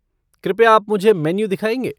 कृपया आप मुझे मेन्यू दिखाएँगे?